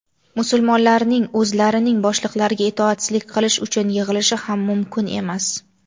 musulmonlarning o‘zlarining boshliqlariga itoatsizlik qilish uchun yig‘ilishi ham mumkin emas.